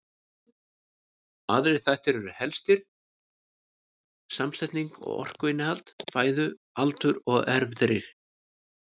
Aðrir þættir eru helstir samsetning og orkuinnihald fæðu, aldur og erfðir.